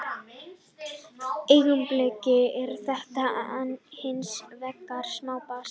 Í augnablikinu er þetta hins vegar smá basl.